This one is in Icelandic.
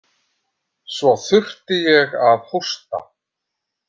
Svo þurfti ég að hósta.